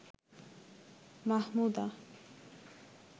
Mahmuda